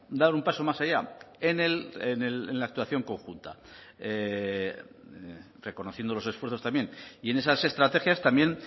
dar un paso más allá en la actuación conjunta reconociendo los esfuerzos también y en esas estrategias también